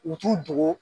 U t'u dogo